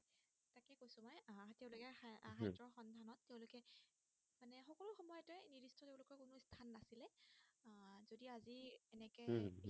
ঠিকেই